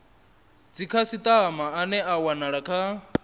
dzikhasitama ane a wanala kha